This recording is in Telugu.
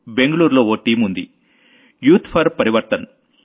బెంగళూరులో ఓ టీమ్ ఉంది youth for Parivartan youth for Parivartan